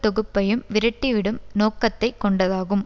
தொகுப்பையும் விரட்டிவிடும் நோக்கத்தை கொண்டதாகும்